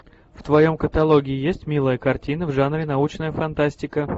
в твоем каталоге есть милая картина в жанре научная фантастика